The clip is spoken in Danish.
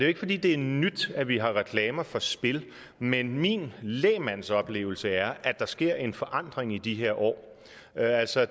ikke fordi det er nyt at vi har reklamer for spil men min lægmandsoplevelse er at der sker en forandring i de her år altså